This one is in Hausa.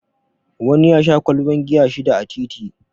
Wani ya sha ƙwalban giya shida a titi